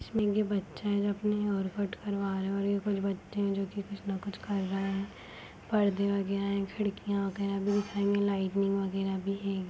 बच्चे है जो की हेयर कट करवा रह है और जो कुछ बच्चे है कुछ न कुछ कर रह है पर्दा वगैरा है खिड़किया वगैरा लाइटिंग वगैरा भी है।